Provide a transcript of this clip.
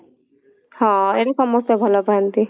ହଁ ଏମତି ସମସ୍ତେ ଭଲ ପାଆନ୍ତି